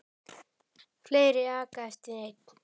Fleiri aka eftir einn.